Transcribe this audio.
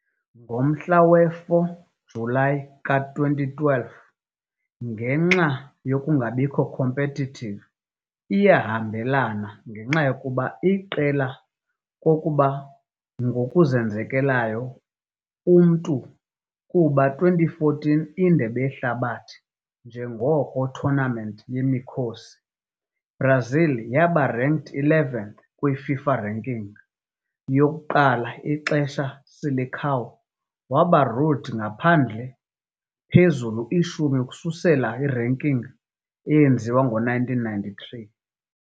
Ngomhla we-4 Julayi ka-2012, ngenxa nokungabikho competitive iyahambelana ngenxa yokuba iqela kokuba ngokuzenzekelayo umntu kuba 2014 Indebe Yehlabathi njengoko tournament yemikhosi, Brazil waba ranked 11th kwi-FIFA ranking, yokuqala xesha "Seleção" waba ruled ngaphandle phezulu ishumi ukususela ranking wenziwa ngowe-1993.